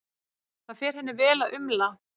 Það fer henni vel að umla.